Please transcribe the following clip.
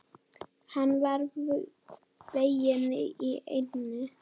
Hann var veginn í eynni.